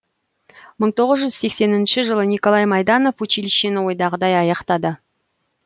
мытоғыз жүз сексенінші жылы николай майданов училищені ойдағыдай аяқтады